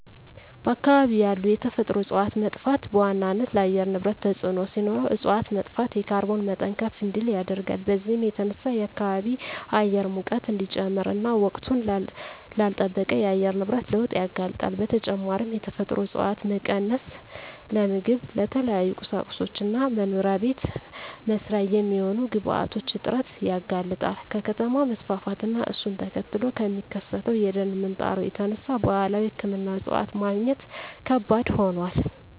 በአካባቢ ያሉ የተፈጥሮ እፀዋት መጥፋት በዋናነት ለአየር ንብረት ተፅዕኖ ሲኖረው እፅዋት መጥፋት የካርቦን መጠን ከፍ እንዲል ያደርጋል። በዚህም የተነሳ የከባቢ አየር ሙቀት እንዲጨምር እና ወቅቱን ላልለጠበቀ የአየር ንብረት ለውጥ ያጋልጣል። በተጨማሪም የተፈጥሮ እፀዋት መቀነስ ለምግብ፣ ለተለያዩ ቁሳቁሶች እና መኖሪያ ቤት መስሪያ የሚሆኑ ግብአቶች እጥረት ያጋልጣል። ከከተማ መስፋፋት እና እሱን ተከትሎ ከሚከሰተው የደን ምንጣሮ የተነሳ ባህላዊ ሕክምና እፅዋት ማግኘት ከባድ ሆኗል።